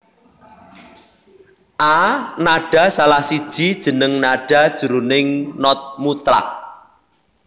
A nada salah siji jeneng nada jroning not mutlak